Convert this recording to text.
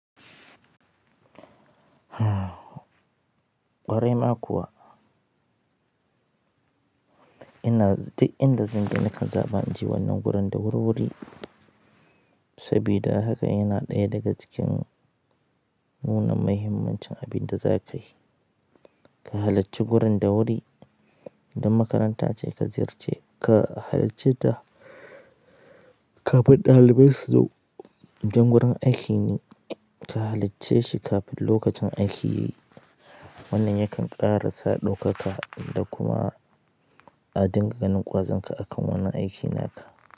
Ƙwarai ma kuwa. Ina z, duk inda zanje na kan zaɓa naje wannan wurin da wurwuri sabida haka, yana ɗaya daga cikin nuna muhimmancin abin da za ka yi, ka halacci gurin da wuri. In makaranta ce ka ziyarce ka halacce ta kafin ɗalibai su zo. In gurin aiki ne ka halacce shi kafin lokacin aiki yayi. Wannan yakan ƙara sa ɗaukaka da kuma. A dinga ganin ƙwazonka akan wannan aikin naka.